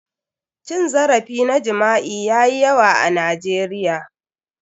Cin zarafi na jima'i yayi yawa a Nigeria.